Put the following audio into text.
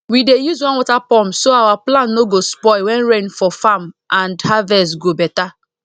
we dey use one water pump so our plant no go spoil when rain for farm and harvest go better